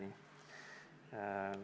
Aitäh!